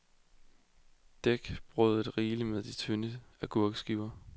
Dæk brødet rigeligt med de tynde agurkeskiver.